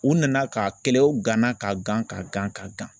U nana ka kɛlɛw gana ka gan ka gan ka gan